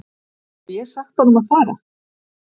Hef ég sagt honum að fara?